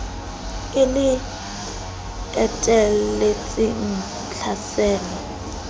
e le le etelletseng tlhaselo